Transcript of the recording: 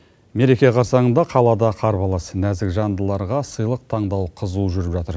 мереке қарсаңында қалада қар қаласы нәзік жандыларға сыйлық таңдау қызу жүріп жатыр